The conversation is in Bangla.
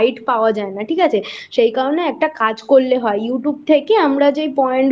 guide পাওয়া যায় না ঠিক আছে সেই জায়গায় একটা কাজ করলে হয় YouTube থেকে আমরা যে point